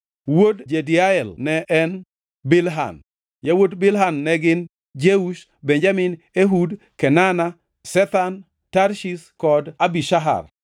Wuod Jediael ne en: Bilhan. Yawuot Bilhan ne gin: Jeush, Benjamin, Ehud, Kenana, Zethan, Tarshish kod Ahishahar.